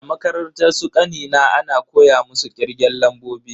A makarantar su kanina ana koya musu kirgen lambobi.